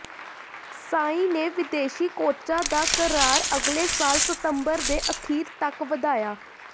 ਸਾਈ ਨੇ ਵਿਦੇਸ਼ੀ ਕੋਚਾਂ ਦਾ ਕਰਾਰ ਅਗਲੇ ਸਾਲ ਸਤੰਬਰ ਦੇ ਅਖੀਰ ਤਕ ਵਧਾਇਆ